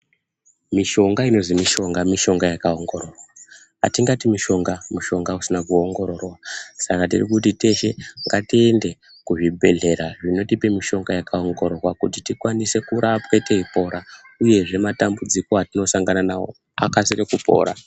Mishonga inozi mishonga, mishonga yakaongororwa atingati mushonga, mushonga usina kuongororwa saka ndirikuti yeshe ngatiende kuzvibhedhlera zvinotipe mishonga yakaongororwa kuti tikwanise kurapwa teipora uyezve matambudziko atinosangana nawo akasire kupora.